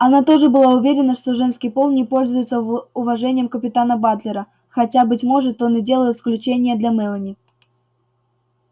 она тоже была уверена что женский пол не пользуется уважением капитана батлера хотя быть может он и делал исключение для мелани